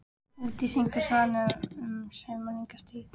Úti syngur svanurinn um sumarlanga tíð.